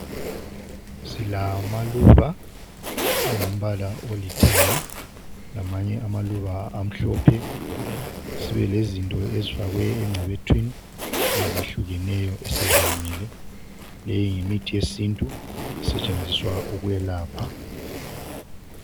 Silamaluba angumbala olithanga lamanye amaluba amhlophe sibelezinto ezifakwe engcebethwini ezehlukeneyo eseziwomile le yimithi yesiNtu esetshenziswa ukwelapha.